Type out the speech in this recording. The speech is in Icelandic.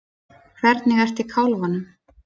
Hvernig ertu í kálfanum?